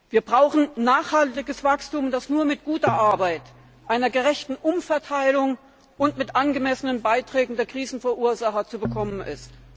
Wir brauchen nachhaltiges Wachstum, das nur mit guter Arbeit, einer gerechten Umverteilung und mit angemessenen Beiträgen der Krisenverursacher zu bekommen